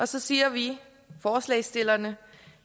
så siger vi forslagsstillerne